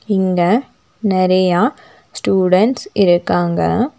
இங்க நெறைய ஸ்டூடண்ட்ஸ் இருக்காங்க.